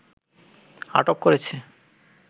আটক করেছে